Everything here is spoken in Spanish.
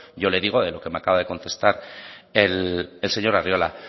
yo le digo de lo que me acaba de contestar el señor arriola